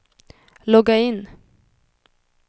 logga in